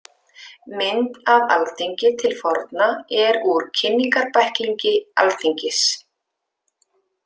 Mynd af Alþingi til forna er úr Kynningarbæklingi Alþingis.